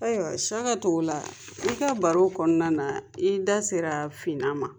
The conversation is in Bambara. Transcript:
Ayiwa SIYAKA TOGOLA i ka baro kɔnɔna na i da sera finnan ma.